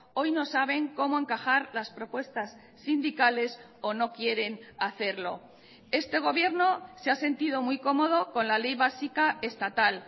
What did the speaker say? hoy no saben cómo encajar las propuestas sindicales o no quieren hacerlo este gobierno se ha sentido muy cómodo con la ley básica estatal